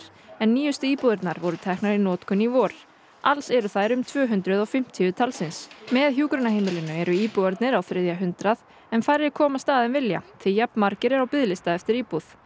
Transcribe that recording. nýjustu íbúðirnar voru teknar í notkun í vor alls eru þær um tvö hundruð og fimmtíu talsins með hjúkrunarheimilinu eru íbúarnir á þriðja hundrað en færri komast að en vilja því jafn margir eru á biðlista eftir íbúð